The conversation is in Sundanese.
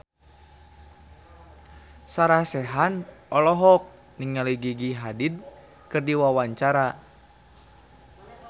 Sarah Sechan olohok ningali Gigi Hadid keur diwawancara